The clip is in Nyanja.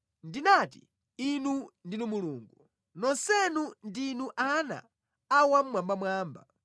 “Ndinati, ‘Inu ndinu Mulungu, nonsenu ndinu ana a Wammwambamwamba.’